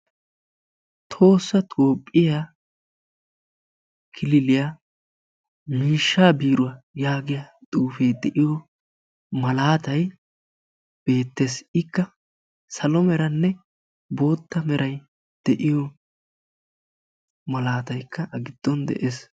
"Tohossa Toophphiyaa kililiyaa miishshaa biiruwaa" yaagiyaa xuufee de"iyo malaatay beettes. Ikka salo meranne bootta meray de"iyo malaataykka A giddon de'ees.